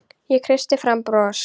Ég kreisti fram bros.